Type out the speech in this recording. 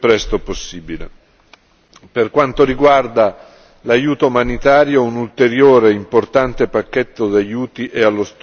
Per quanto riguarda l'aiuto umanitario un ulteriore importante pacchetto di aiuti è allo studio della Commissione.